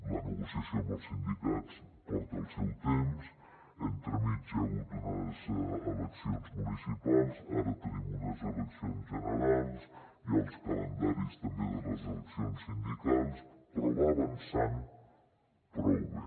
la negociació amb els sindicats porta el seu temps entremig hi ha hagut unes eleccions municipals ara tenim unes eleccions generals hi ha els calendaris també de les eleccions sindicals però va avançant prou bé